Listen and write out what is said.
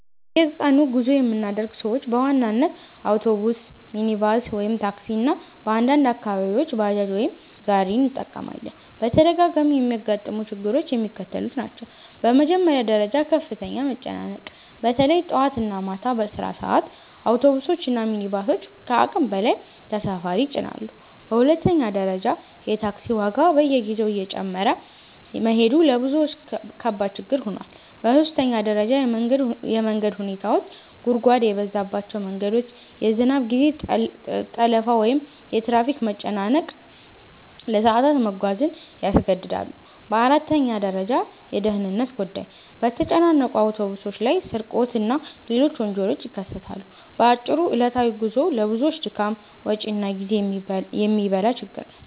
በየቀኑ ጉዞ የምናደርግ ሰዎች በዋናነት አውቶቡስ፣ ሚኒባስ (ታክሲ) እና በአንዳንድ አካባቢዎች ባጃጅ ወይም ጋሪ እንጠቀማለን። በተደጋጋሚ የሚያጋጥሙ ችግሮች የሚከተሉት ናቸው፦ በመጀመሪያ ደረጃ ከፍተኛ መጨናነቅ – በተለይ ጠዋት እና ማታ በስራ ሰዓት አውቶቡሶች እና ሚኒባሶች ከአቅም በላይ ተሳፋሪ ይጭናሉ። በሁለተኛ ደረጃ የታክሲ ዋጋ በየጊዜው እየጨመረ መሄዱ ለብዙዎች ከባድ ችግር ሆኗል። በሦስተኛ ደረጃ የመንገድ ሁኔታዎች – ጉድጓድ የበዛባቸው መንገዶች፣ የዝናብ ጊዜ ጠለፋ ወይም የትራፊክ መጨናነቅ ለሰዓታት መጓዝን ያስገድዳል። በአራተኛ ደረጃ የደህንነት ጉዳይ – በተጨናነቁ አውቶቡሶች ላይ ስርቆት እና ሌሎች ወንጀሎች ይከሰታሉ። በአጭሩ ዕለታዊ ጉዞው ለብዙዎች ድካም፣ ወጪ እና ጊዜ የሚበላ ችግር ነው።